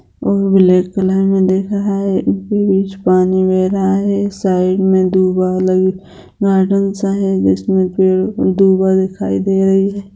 और black colour में दिख रहा है उसके बीच पानी बह रहा है साइड में लगी गार्डन सा है जिसमें पेड़ दुगो दिखाई दे रही है।